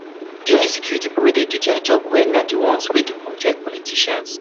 Mama Nebo calm down, las las na um money we go use settle dis matter, im no go go jail